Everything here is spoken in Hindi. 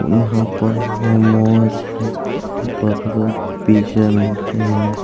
और यहां पर मोमोज बर्गर पिज़्ज़ा मिलते हैं।